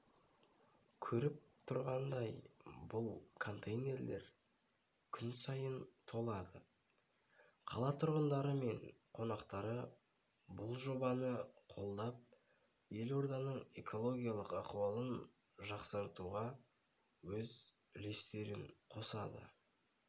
көріп тұрғандай бұл контейнерлер күн сайын толады қала тұрғындары мен қонақтары бұл жобаны қолдап елорданың экологиялық ахуалын жақсартуға өз үлестерін қосады